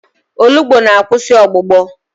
Olugbu na-akwụsị ọgbụgbọ.